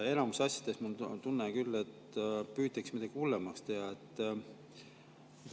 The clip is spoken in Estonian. Enamikus asjades, mul on tunne, püütakse midagi hullemaks teha.